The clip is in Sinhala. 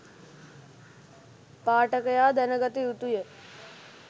පාඨකයා දැනගත යුතුය.